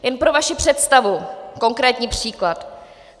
Jen pro vaši představu konkrétní příklad.